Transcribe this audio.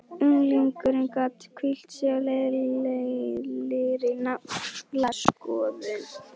Unglingurinn gat hvílt sig á leiðinlegri naflaskoðun.